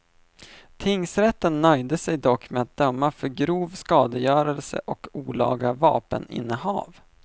Tingsrätten nöjde sig dock med att döma för grov skadegörelse och olaga vapeninnehav.